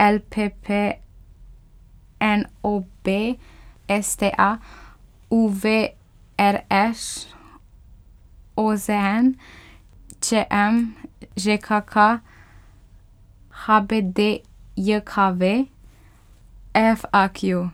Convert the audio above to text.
L P P; N O B; S T A; U V; R Š; O Z N; Č M; Ž K K; H B D J K V; F A Q.